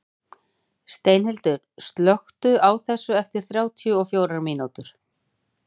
Steinhildur, slökktu á þessu eftir þrjátíu og fjórar mínútur.